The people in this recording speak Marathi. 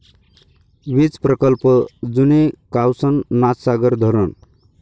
वीज प्रकल्प, जुने कावसन नाथसागर धरण